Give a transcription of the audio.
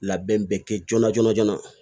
Labɛn bɛ kɛ joona joona joona